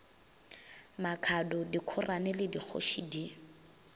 makhado dikhorane le dikgoši di